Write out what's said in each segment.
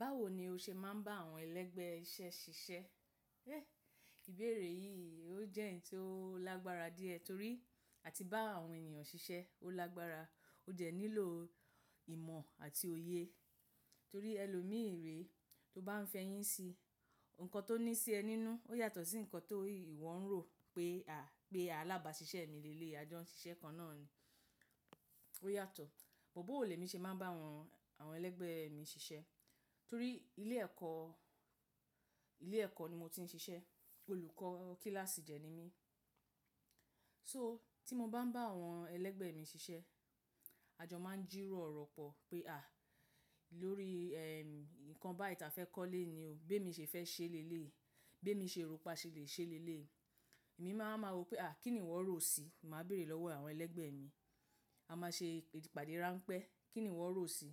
Báwo ni o ṣe máa ń bá àwọn ẹlẹ́gbẹ́ iṣẹ́ ṣiṣẹ́? Ẹ́ ìbéèrè yìí ó jẹ́ ẹ̀ní tó lágbára díẹ̀ torí àti bá àwọn ènìyàn ṣiṣẹ́ ó lágbára ó jẹ́ nílò ìmọ̀ àti òye torí ẹlòmíìré tó bá ń fẹyín si, nǹkan tó ní sí ẹ nínú ó yàtọ̀ sí nǹkan tó ìwọ ń rò pé à, pé alábàáṣiṣẹ́ mi lè lè ajọ́ ṣiṣẹ́ kan náà ni. Ó yàtọ̀. Bọ̀ bóò lemi ṣe máa ń bá àwọn, àwọn ẹlẹ́gbẹ́ mi ṣiṣẹ́ torí ilé ẹ̀kọ́, ilé ẹ̀kọ́ ni mo ti ń ṣiṣẹ́, olùkọ́ kíláàsì dẹ ni mí. So tí mo bá ń bá àwọn ẹlẹ́gbẹ́ mi ṣiṣẹ́, àjọ máa ń jírò ọ̀rọ̀ pọ̀ pé à lórí eh ìkan báyì ta fẹ́ kọ́ léni o, b'émi ṣé fẹ́ ṣe léléyi, b'émi ṣe rò pà ṣẹ lè ṣe léléyi. Èmi máa ń máa rò pé à kín ni ìwọ rò si, màá béèrè lọ́wọ́ àwọn ẹlẹ́gbẹ́ mi. A máa ṣe ìpàdé ráńpẹ́, kín ni ìwọ rò si.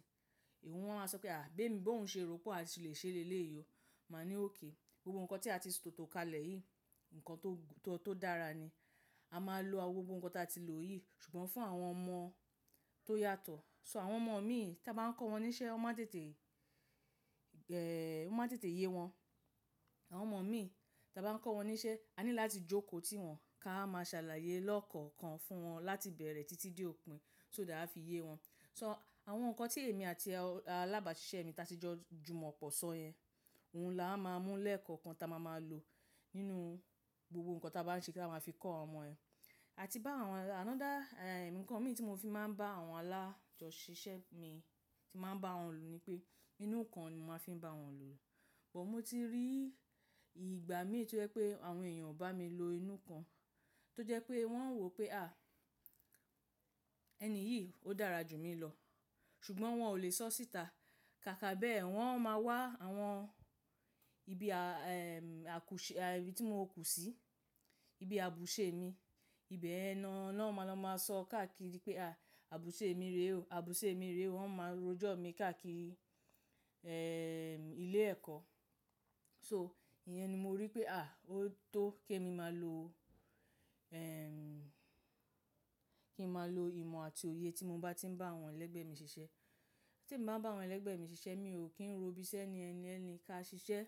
Ìwọ wọn á sọ pé à gbé mi bó ń ṣe rò pàṣẹ lè ṣe léléyi o. Màá ní òkè gbogbo nǹkan tí a ti tò tó kalẹ̀ yìí, nǹkan tó, tó dára ni. A máa lo gbogbo nǹkan tí a ti lò yìí ṣùgbọ́n fún àwọn ọmọ tó yàtọ̀. So àwọn ọmọ mi tí a bá ń kọ́ wọn níṣẹ́ wọ́n máa tètè gẹ́ẹ́ o máa n tètè yé wọn. Àwọn ọmọ mi tí a bá ń kọ́ wọn níṣẹ́, a ní láti jókòó tí wọn ká máa ṣàlàyé lọ́kàn-kàn fún wọn láti bẹ̀rẹ̀ títí de òpin so dá a fi yé wọn. So àwọn nǹkan tí èmi àti alábàáṣiṣẹ́ mi ta tí jọ jùmọ̀ pọ̀ sọ yẹn, òun la wa máa ń mú lẹ́ẹ̀kọ́kan táa máa máa lò nínú gbogbo nǹkan tí a bá ń ṣe kí a máa fi kọ́ àwọn ọmọ ẹ. Àti bá àwọn àná dá eh nǹkan mi tí mo fi máa ń bá àwọn alájọṣiṣẹ́ mi tí màá ń bá wọn lò ni pé inú kan ni màá fi ń bá wọn lò. Bọ̀ mo ti rí ìgbà míì to jẹ́ pé àwọn èèyàn ò bá mi lo inú kan tó jẹ́ pé wọ́n ń rò pé à ẹni yìí ó dára jù mí lọ ṣùgbọ́n wọn ò lè sọ síta. Kàkà bẹ́ẹ̀ wọn máa wá àwọn ibi a eh àkúṣe ibi tí mo kú sí, ibi àbùṣe mi, ibẹ̀ ẹna wọn lọ máa sọ káàkiri pé à àbùṣe mi rè o, àbùṣe mi rè o, wọ́n máa rojọ́ mi káàkiri eh ilé ẹ̀kọ́. So ìyẹn ni mo rí pé à ó tó kí èmi máa lo eh kí ń máa lo ìmọ̀ àti òye tí mo bá ti ń bá àwọn ẹlẹ́gbẹ́ mi ṣiṣẹ́. Tí mo bá ń bá àwọn ẹlẹ́gbẹ́ mi ṣiṣẹ́ mi ò kí ń ro ibiṣẹ́ ni ẹni ẹni ká ṣiṣẹ́.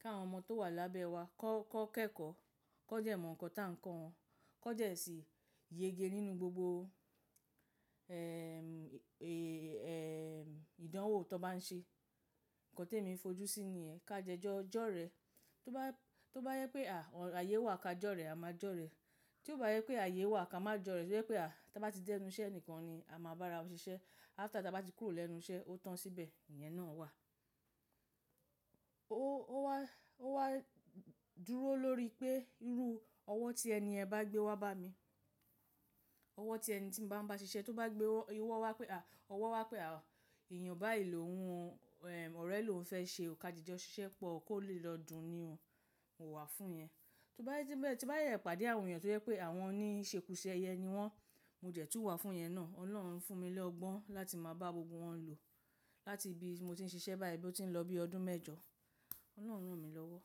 Ka àwọn ọmọ tó wà lábẹ́ wa kọ́, kọ́ kẹ́kọ̀ọ́, kọ́ dẹ ìmọ̀ nǹkan táa ń kọ́ wọn, kọ́ dẹ́ sì yege nínú gbogbo eh eh eh ìdánwò tó bá ń ṣe. Nǹkan tí èmi ń fojú sí ni ẹ ká dẹ́ jọ́ jẹ́ ọ̀rẹ. Tó bá, tó bá yẹ pé à àyé wà ká jọ́rẹ́ a máa jọ́rẹ́. Tí ó bá yẹ pé ààyè wà ká má jọ́rẹ́ tó jẹ́ pé à táa bá ti dẹ́nu iṣẹ́ nǹkan ni a máa bá ra ṣiṣẹ́. After táa bá ti kúrò lẹ́nu iṣẹ́ ó tán síbẹ̀ ìyẹn náà wà. Ó wá, ó wá dúró lórí pé irú ọwọ́ tí ẹni yẹn bá gbé wá bá mi, ọwọ́ tí ẹni tí mo bá ń bá ṣiṣẹ́ tó bá gbé owó wá pé à ọwọ́ wá pé à èèyàn bá yìí lòhun eh ọ̀rẹ́ lò ń fẹ́ ṣe òkàdí jọ ṣiṣẹ́ pọ̀ kó lè lọ́dun ni ò, mò wà fún ìyẹn. Tó bá yẹ tí bẹ́ẹ̀, tí bá yẹ ìpàdé àwọn èèyàn tó jẹ́ pé àwọn ni ṣe ku ṣ'ẹyẹ ni wọ́n, mo dẹ̀ tún wà fún ìyẹn náà. Ọlọ́run fún mi lọ́gbọ́n láti máa bá gbogbo wọn lò láti bí mo ti ń ṣiṣẹ́ báyìí bí ó ti ń lọ bí ọdún mẹ́jọ. Ọlọ́run ràn mí lọ́wọ́.